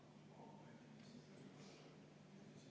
Kolm minutit lisaaega.